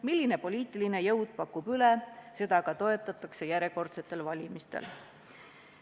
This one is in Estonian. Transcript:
Milline poliitiline jõud pakub üle, seda ka toetatakse järjekordsetel valimistel.